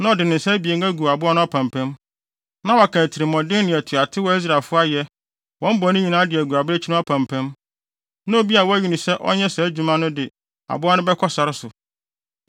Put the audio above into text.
Na ɔde ne nsa abien agu aboa no apampam, na waka atirimɔden ne atuatew a Israelfo ayɛ, wɔn bɔne nyinaa de agu abirekyi no apampam, na obi a wɔayi no sɛ ɔnyɛ saa adwuma no de aboa no bɛkɔ sare so.